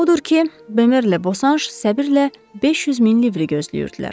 Odur ki, Bemerlə Boşanş səbirlə 500 min livri gözləyirdilər.